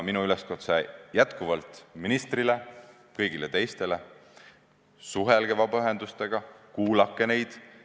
Minu üleskutse ministrile ja kõigile teistele on jätkuvalt see, et suhelge vabaühendustega, kuulake neid.